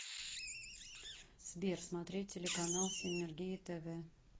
сбер смотреть телеканал синергия тв